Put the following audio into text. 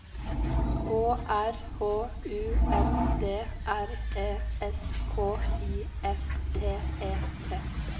Å R H U N D R E S K I F T E T